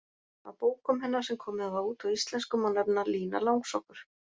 Af bókum hennar sem komið hafa út á íslensku má nefna: Lína Langsokkur